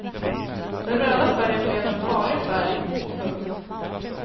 Den röda färgen blev en farlig färg. punkt